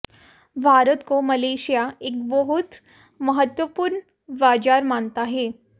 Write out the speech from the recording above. भारत को मलेशिया एक बहुत महत्त्वपूर्ण बाज़ार मानता है